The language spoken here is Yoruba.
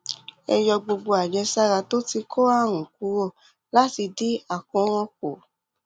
ẹ yọ gbogbo àjẹsára tó ti kó àrùn kúrò láti dín àkóràn kù